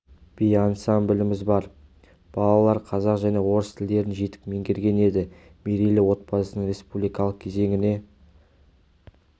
би ансамбліміз бар балалар қазақ және орыс тілдерін жетік меңгерген енді мерейлі отбасының республикалық кезеңіне